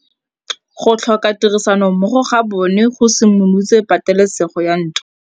Go tlhoka tirsanommogo ga bone go simolotse patêlêsêgô ya ntwa.